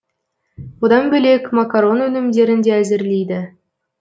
одан бөлек макарон өнімдерін де әзірлейді